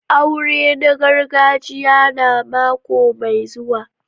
Aurena gargajiya na mako mai zuwa.